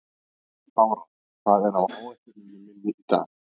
Bára, hvað er á áætluninni minni í dag?